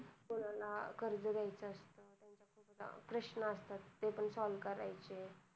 कोणाला कर्ज घ्याच त्यांचे प्रश्न असतात ते पण solve करायचे